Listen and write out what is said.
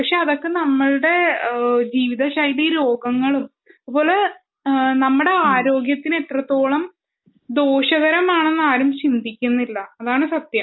പക്ഷെ അതൊക്കെ നമ്മളുടെ ജീവിത ശൈലി രോഗങ്ങളും അതുപോലെ നമ്മളുടെ ആരോഗ്യത്തിന് എത്രത്തോളം ദോഷകമാരാണെന്നു ആരും ചിന്തിക്കുന്നില്ല അതാണ് സത്യം